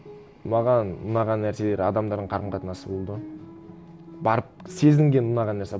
маған ұнаған нәрселері адамдардың қарым қатынасы болды барып сезінген ұнаған нәрсе